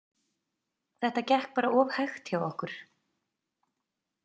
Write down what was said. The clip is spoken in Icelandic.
Þetta gekk bara of hægt hjá okkur.